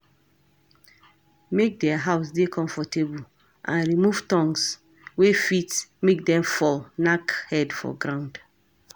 Make their house dey comfortable and remove thongs wey fit make dem fall knack head for ground